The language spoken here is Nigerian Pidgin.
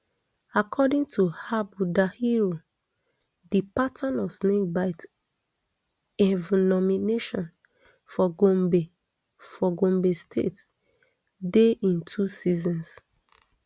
according to habu dahiru di pattern of snakebite envenomation for gombe for gombe state dey in two seasons